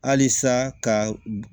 Halisa ka